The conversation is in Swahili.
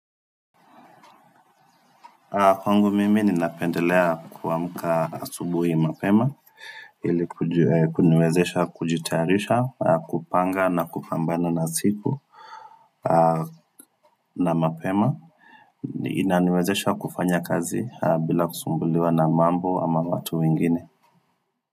Kwangu mimi ninapendelea kuamka subuhi mapema ili kuniwezesha kujitayarisha kupanga na kupambana na siku na mapema inaniwezesha kufanya kazi bila kusumbuliwa na mambo ama watu wengine.